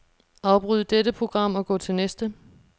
Afbryd dette program og gå til næste.